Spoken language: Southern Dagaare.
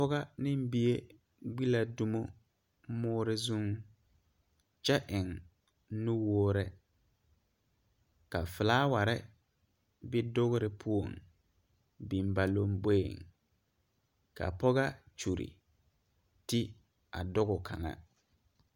Pɔgega ne bie gbe la domo more zuŋ kyɛ eŋ nuwɔre ka fiilaware be dore poɔ biŋ ba lanboɛ kaa Pɔgega kyire tige a doko kaŋa.